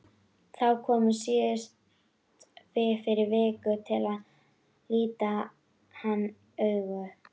Þau komu síðast fyrir viku til að líta hann augum.